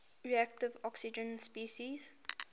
reactive oxygen species